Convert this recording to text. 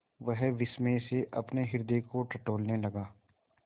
वह विस्मय से अपने हृदय को टटोलने लगा